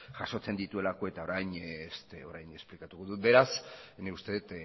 jasotzen dituelako eta orain esplikatuko dut beraz nik uste dut